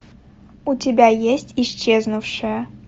у тебя есть исчезнувшая